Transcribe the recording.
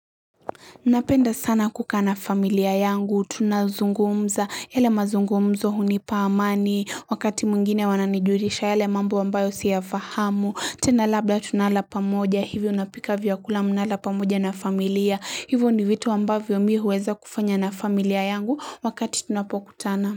Napenda sana kukaa na familia yangu, tunazungumza, yale mazungumzo hunipa amani, wakati mwingine wananijulisha yale mambo wambayo siyafahamu, tena labla tunala pamoja, hivyo unapika vya kula mnalala pamoja na familia, hivyo ni vitu ambavyo mi huweza kufanya na familia yangu wakati tunapokutana.